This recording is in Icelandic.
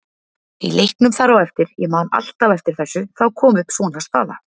Í leiknum þar á eftir, ég man alltaf eftir þessu, þá kom upp svona staða.